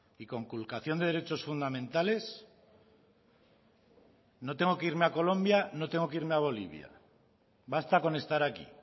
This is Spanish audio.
y conculcación de derechos fundamentales no tengo que irme a colombia no tengo que irme a bolivia basta con estar aquí